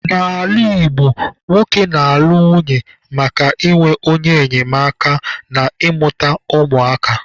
N'ala Igbo, nwoke na-alụ nwunye maka inwe onye enyemaka na ịmụta ụmụ aka